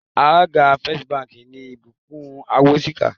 Alága First Bank ni Ìbùkún Awóṣìkà